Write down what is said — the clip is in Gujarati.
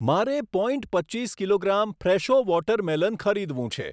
મારે પોઈન્ટ પચ્ચીસ કિલોગ્રામ ફ્રેશો વોટર મેલન ખરીદવું છે.